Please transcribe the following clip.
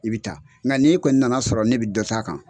I bɛ taa nka n'i kɔni nana sɔrɔ ne bɛ dɔ ta kan.